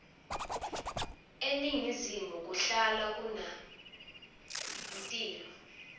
eningizimu kuhlala kuna timwla